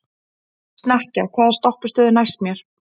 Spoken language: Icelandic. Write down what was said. Snekkja, hvaða stoppistöð er næst mér?